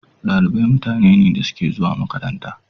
Dalibai mutane ne da suke zuwa makaranta.